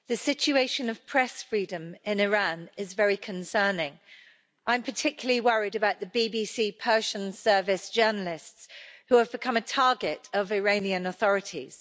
Mr President, the situation of press freedom in Iran is very concerning. I am particularly worried about the BBC Persian Service journalists who have become a target of the Iranian authorities.